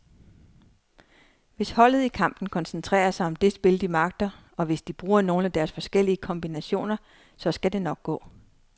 Hvis holdet i kampen koncentrerer sig om det spil, de magter, og hvis de bruger nogle af deres forskellige kombinationer, så skal det nok gå.